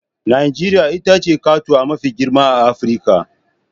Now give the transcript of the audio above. Najeriya ita ce katuwa mafi girma a Afirka